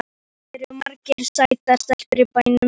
Það eru margar sætar stelpur í bænum.